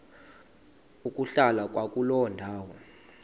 ukuhlala kwakuloo ndawo